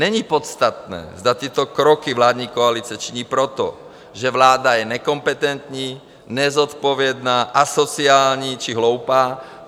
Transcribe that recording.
Není podstatné, zda tyto kroky vládní koalice činí proto, že vláda je nekompetentní, nezodpovědná, asociální či hloupá.